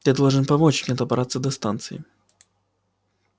ты должен помочь мне добраться до станции